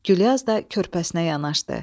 Güllyaz da körpəsinə yanaşdı.